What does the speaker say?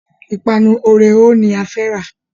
Ìpanu Oreo ni a fẹ́ rà.